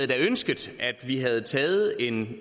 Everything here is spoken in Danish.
været ønskeligt at vi havde taget en